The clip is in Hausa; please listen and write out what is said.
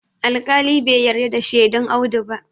alƙali ba yarda da shedun Audu ba